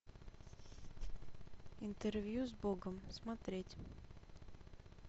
интервью с богом смотреть